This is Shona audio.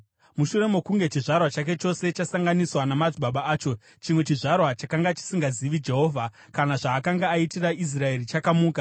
Mushure mokunge chizvarwa chake chose chasanganiswa namadzibaba acho, chimwe chizvarwa chakanga chisingazivi Jehovha kana zvaakanga aitira Israeri chakamuka.